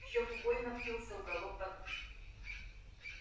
в щёку больно впился уголок подушки